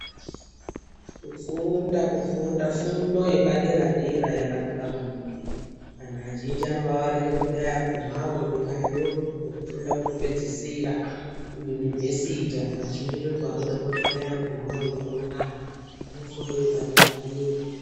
kufunda kufunda fundo yepadera-dera yakanaka maningi. Antu azhinji anovavarira kuti dai agumavo derayo kwekufunda kwekupedzisira kuyunivhesiti. Antu azhinji ndokwanoda kuti dai agumavo ikona kune fundo yepadera-dera.